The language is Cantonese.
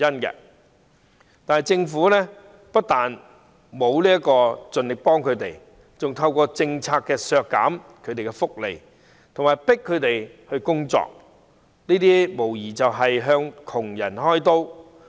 然而，政府不但沒有盡力幫助他們，還透過這項政策削減他們的福利，強迫他們工作，無疑是向窮人"開刀"。